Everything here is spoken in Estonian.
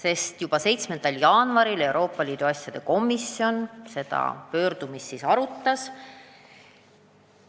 ELAK arutas seda pöördumist küll alles tänavu 7. jaanuaril.